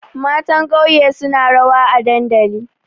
Matan ƙauye suna rawa a dandali.